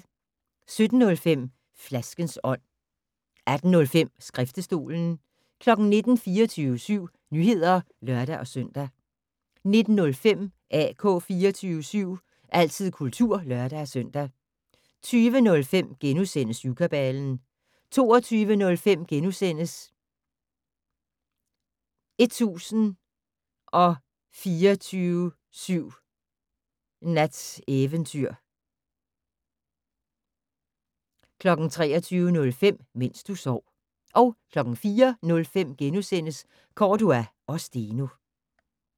17:05: Flaskens ånd 18:05: Skriftestolen 19:00: 24syv Nyheder (lør-søn) 19:05: AK 24syv - altid kultur (lør-søn) 20:05: Syvkabalen * 22:05: 1024syv Nats Eventyr * 23:05: Mens du sov 04:05: Cordua & Steno *